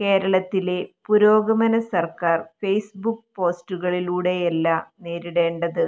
കേരളത്തിലെ പുരോഗമനസർക്കാർ ഫെയ്സ്ബുക്ക് പോസ്റ്റുകളിലൂടെയല്ല നേരിടേണ്ടത്